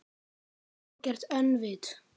Algert öngvit!